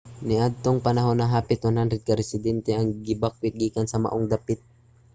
niadtong panahona hapit 100 ka residente ang gibakwet gikan sa maong dapit